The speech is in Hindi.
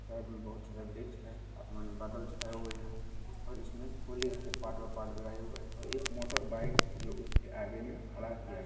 एक में बहुत सारा बृक्ष है आसमान में बहुत सरे बदल छाए हुए हैं और इसमें और इसमें एक मोटरबाइक जो उसके आगे में खड़ा किया गया है ।